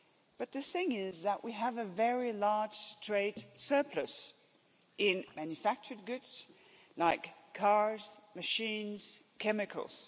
But the thing is that we have a very large trade surplus in manufactured goods, like cars, machines, chemicals.